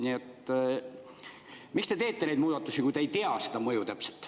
Nii et: miks te teete neid muudatusi, kui te ei tea täpselt seda mõju?